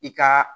I ka